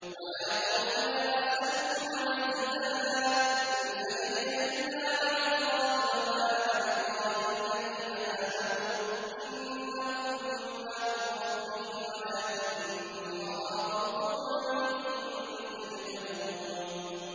وَيَا قَوْمِ لَا أَسْأَلُكُمْ عَلَيْهِ مَالًا ۖ إِنْ أَجْرِيَ إِلَّا عَلَى اللَّهِ ۚ وَمَا أَنَا بِطَارِدِ الَّذِينَ آمَنُوا ۚ إِنَّهُم مُّلَاقُو رَبِّهِمْ وَلَٰكِنِّي أَرَاكُمْ قَوْمًا تَجْهَلُونَ